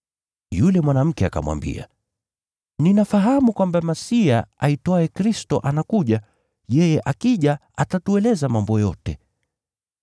Yule mwanamke akamwambia, “Ninafahamu kwamba Masiya (aitwaye Kristo) anakuja. Yeye akija, atatueleza mambo yote.”